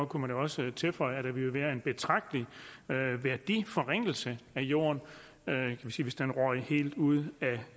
kunne man jo også tilføje at der ville være en betragtelig værdiforringelse af jorden hvis den røg helt ud af